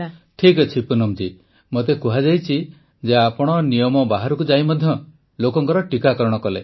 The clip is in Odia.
ପ୍ରଧାନମନ୍ତ୍ରୀ ଠିକ ଅଛି ପୁନମ ଜୀ ମୋତେ କୁହାଯାଇଛି ଯେ ଆପଣ ନିୟମ ବାହାରକୁ ଯାଇ ମଧ୍ୟ ଲୋକଙ୍କ ଟୀକାକରଣ କଲେ